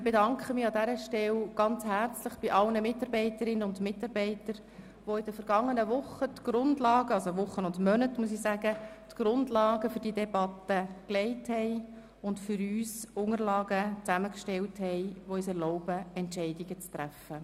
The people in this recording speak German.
Ich bedanke mich an dieser Stelle herzlich bei allen Mitarbeiterinnen und Mitarbeitern, die in den vergangenen Wochen und Monaten die Grundlage für diese Debatte gelegt und Unterlagen für uns zusammengestellt haben, welche es uns erlauben, Entscheidungen zu treffen.